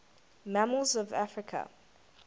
mammals of africa